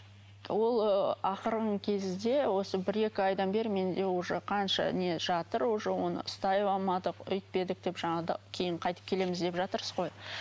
ол ыыы ақырғы кезде осы бір екі айдан бері менде уже қанша не жатыр уже оны ұстай алмадық өйтпедік деп жаңа да кейін қайтіп келеміз деп жатырсыз ғой